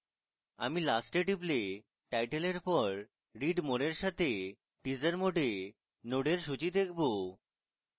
আমি last a টিপলে title এর পর read more এর সাথে teaser mode a নোডের সূচী দেখবো